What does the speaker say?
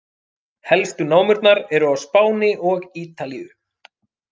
Helstu námurnar eru á Spáni og Ítalíu.